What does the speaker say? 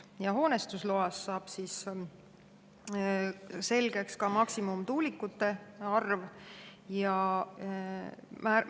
Ja hoonestusloast saab selgeks ka tuulikute maksimumarv.